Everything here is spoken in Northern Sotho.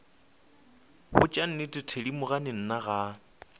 botša nnete thedimogane nna ga